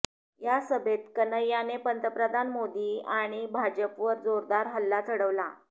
या सभेत कन्हैयाने पंतप्रधान मोदी आणि भाजपवर जोरदार हल्ला चढवला